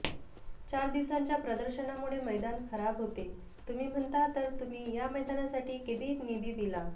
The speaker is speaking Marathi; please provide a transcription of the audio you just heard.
चार दिवसांच्या प्रदर्शनामुळे मैदान खराब होते तुम्ही म्हणता तर तुम्ही या मैदानासाठी किती निधी दिला